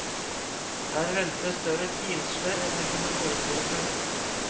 Der venter større pinsler enn de kunne forestille seg.